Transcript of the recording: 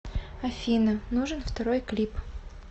афина нужен второй клип